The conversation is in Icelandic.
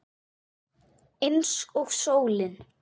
Eins og sólin.